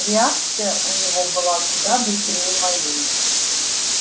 реакция у него была куда быстрее моей